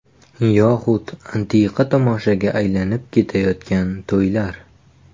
Yoxud antiqa tomoshaga aylanib ketayotgan to‘ylar.